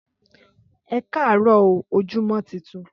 Ẹkarọ óò ojumọ titun